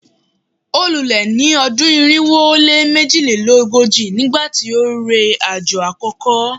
o lule ni odun irinwo o le mejilelogoji nigbati o re ajo akoko